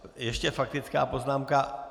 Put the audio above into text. Ještě faktická poznámka.